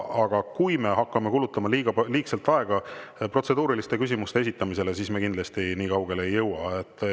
Aga kui me hakkame kulutama liigselt aega protseduuriliste küsimuste esitamisele, siis me kindlasti nii kaugele ei jõua.